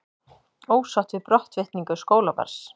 Ósátt við brottvikningu skólabarns